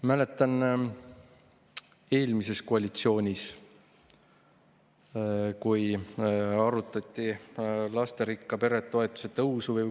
Mäletan, kui eelmises koalitsioonis arutati lasterikka pere toetuse tõusu.